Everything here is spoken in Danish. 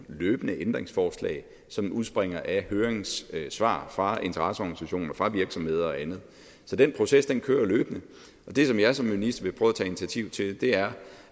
løbende ændringsforslag som udspringer af høringssvar fra interesseorganisationer fra virksomheder og andet så den proces kører løbende det som jeg som minister vil prøve at tage initiativ til er